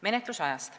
Menetlusaeg.